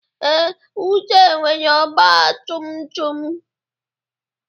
Ee, Uche nwere ọgba tum tum.